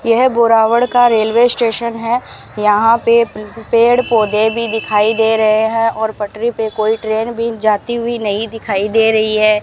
यह बोरावड का railway station है यहां पे पेड़ पौधे भी दिखाई दे रहे हैं और पटरी पे कोई ट्रेन भी जाती हुई नहीं दिखाई दे रही है।